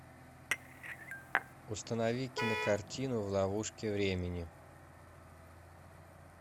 установи кинокартину в ловушке времени